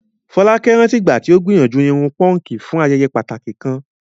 Folake rántí ìgbà tí ó gbìyànjú irun púnkì fún ayẹyẹ pàtàkì kan.